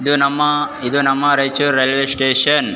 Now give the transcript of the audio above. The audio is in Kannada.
ಇದು ನಮ್ಮ ಇದು ನಮ್ಮ ರೈಚೂರು ರೈಲ್ವೇ ಸ್ಟೇಷನ್ .